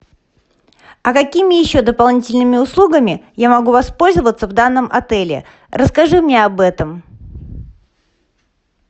а какими еще дополнительными услугами я могу воспользоваться в данном отеле расскажи мне об этом